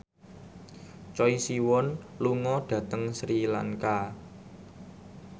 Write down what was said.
Choi Siwon lunga dhateng Sri Lanka